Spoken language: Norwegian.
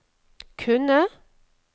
kunne